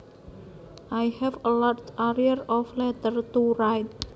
I have a large arrear of letters to write